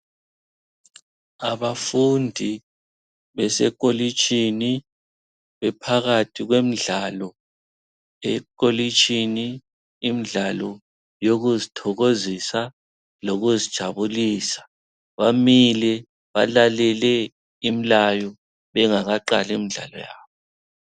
Abafundi besekolitshini bephakathi kwemidlalo yekolitshini imidlalo yokuzithokozisa lokuzijabulisa. Bamile balalele imilayo bengakaqali imidlalo yabo.